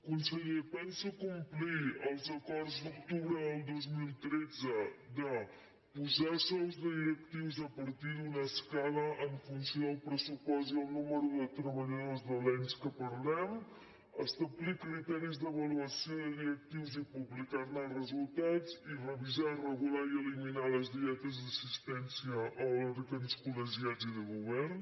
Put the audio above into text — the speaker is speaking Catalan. conseller pensa complir els acords d’octubre del dos mil tretze de posar sous de directius a partir d’una escala en fun·ció del pressupost i el nombre de treballadors de l’ens que parlem establir criteris d’avaluació de directius i publicar·ne els resultats i revisar regular i eliminar les dietes d’assistència a òrgans col·legiats i de govern